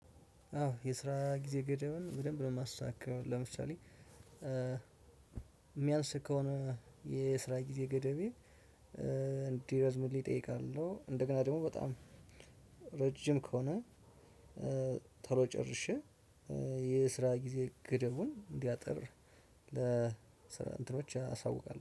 አዎ የስራ ጊዜ ገደብን በደንብ ነው የማሳካው። ለምሳሌ የሚያንስ ከሆነ የስራ ጊዜ ገደቤ እንዲረዝምልኝ እጠይቃለሁ። እንደገና ደግሞ በጣም ረጅም ከሆነ ቶሎ ጨርሼ የስራ ጊዜ ገደቡን እንዲያጥር ለ እንትኖች አሳውቃለሁ